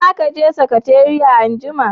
Za ki je sakatariya anjima?